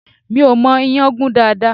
Mi ò mọ ìyàn gún dáadáa